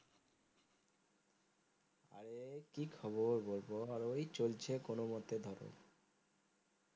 কি খবর বলবো আর ওই চলছে কোনো মতে ধর।